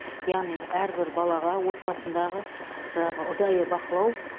яғни әрбір балаға отбасындағы жаңағы ұдайы бақылау